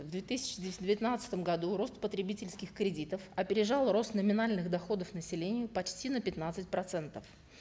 в две тысячи девятнадцатом году рост потребительских кредитов опережал рост номинальных доходов населения почти на пятнадцать процентов